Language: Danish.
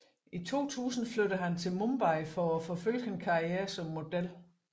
I 2000 flyttede han til Mumbai for at forfølge en karriere som model